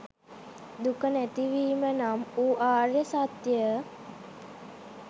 දුක නැතිවීම නම් වූ ආර්ය සත්‍යය